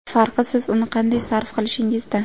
Farqi, siz uni qanday sarf qilishingizda.